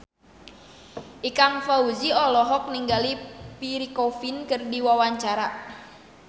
Ikang Fawzi olohok ningali Pierre Coffin keur diwawancara